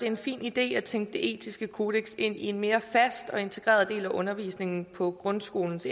en fin idé at tænke det etiske kodeks ind i en mere fast og integreret del af undervisningen på grundskolens